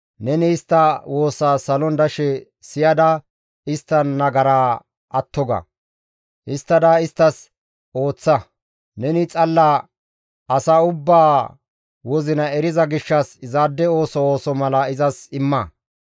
neni istta woosaa salon dashe siyada istta nagaraa atto ga; histtada isttas ooththa; neni xalla asa ubbaa wozina eriza gishshas izaade ooso ooso mala izas imma.